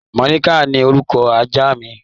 Màlàíkà ni orúkọ ajá mi